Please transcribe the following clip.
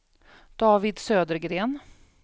David Södergren